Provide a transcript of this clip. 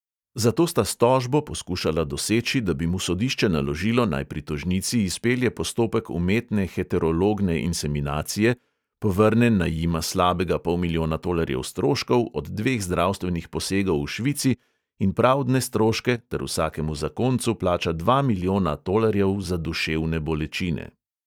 Zato sta s tožbo poskušala doseči, da bi mu sodišče naložilo, naj pri tožnici izpelje postopek umetne heterologne inseminacije, povrne naj jima slabega pol milijona tolarjev stroškov od dveh zdravstvenih posegov v švici in pravdne stroške ter vsakemu zakoncu plača dva milijona tolarjev za duševne bolečine.